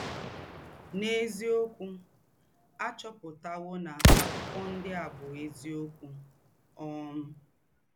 N’ézíọ́kú, à chọ́pụ̀tàwò na àkụ́kọ̀ ńdị́ à bú́ ézíọ́kú! um